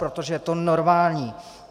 Protože to je normální.